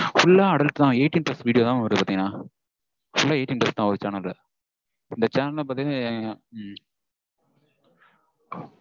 Full லா adult தா eighteen plus video தா mam வருது பாத்தீங்கனா. full லா eighteen plus தா ஒரு channel. இந்த channel லாம் பாத்தீங்கனா உம்